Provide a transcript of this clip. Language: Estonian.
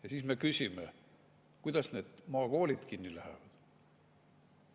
Ja siis me küsime, miks need maakoolid kinni lähevad.